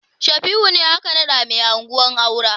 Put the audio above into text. Shafi'u ne aka naɗa mai anguwa Kaura.